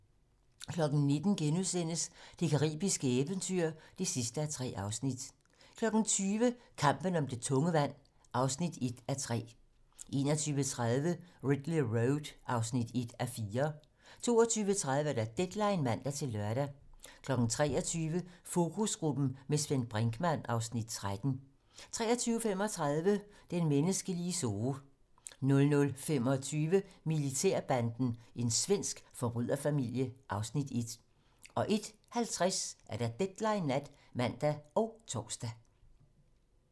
19:00: Det caribiske eventyr (3:3)* 20:00: Kampen om det tunge vand (1:3) 21:30: Ridley Road (1:4) 22:30: Deadline (man-lør) 23:00: Fokusgruppen - med Svend Brinkmann (Afs. 13) 23:35: Den menneskelige zoo 00:25: Militærbanden - en svensk forbryderfamilie (Afs. 1) 01:50: Deadline nat (man og tor)